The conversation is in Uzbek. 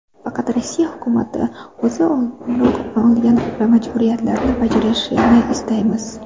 Faqat Rossiya hukumati o‘zi oldinroq olgan majburiyatlarini bajarishini istaymiz.